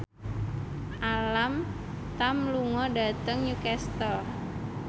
Alam Tam lunga dhateng Newcastle